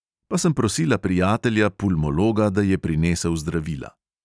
Pa sem prosila prijatelja pulmologa, da je prinesel zdravila.